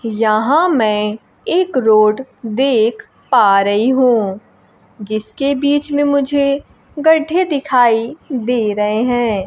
यहां मैं एक रोड देख पा रही हूं जिसके बीच में मुझे गड्ढे दिखाई दे रहे हैं।